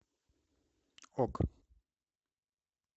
ок